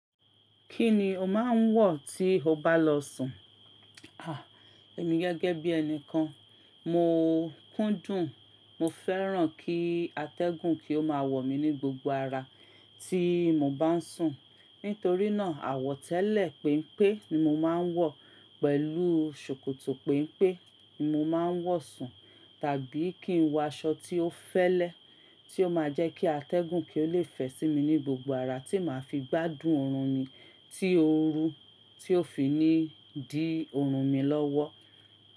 Kí ni o máa ń wọ̀ tí o bá lọ sùn? À, èmi gẹ́gẹ́ bí ẹni kan, mo kúndùn, mo fẹ́ràn kí atẹ́gùn kí ó máa wọ̀ mí ní gbogbo ara tí mo bá ń sùn. Nítorí náà, àwọ̀tẹ́lẹ̀ penpe ni mo máa ń wọ̀ pẹ̀lú ṣòkòtò penpe ni mo máa ń wọ̀ sùn. Tàbí kí n wọ aṣọ tí ó fẹ́lẹ́, tí ó máa jẹ́ kí atẹ́gùn kí ó lè fẹ̀ sí mi ní gbogbo ara, tí màá fi gbádùn oorun mi tí óorú, tí ó fi ní di oorun mi lọ́wọ́.